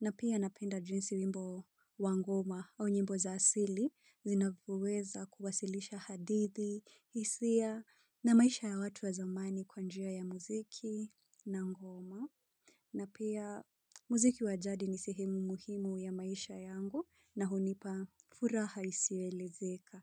Na pia napenda jinsi wimbo wa ngoma au nyimbo za asili zinavyoweza kuwasilisha hadithi, hisia na maisha ya watu wa zamani kwa njia ya muziki na ngoma. Na pia muziki wa jadi ni sehemu muhimu ya maisha yangu na hunipa furaha isiyoelezeka.